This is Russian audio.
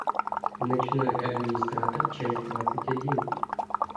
ночной администратор часть двадцать один